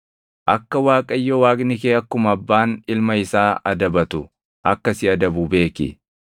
Akka Waaqayyo Waaqni kee akkuma abbaan ilma isaa adabatu akka si adabu beeki.